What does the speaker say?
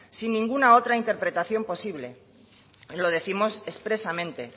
sin ninguna otra interpretación posible y lo décimos expresamente